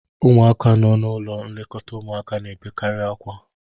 ụmụaka n'ụlọ nlekọta ụmụaka na-ebekarị akwa